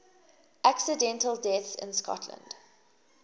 accidental deaths in scotland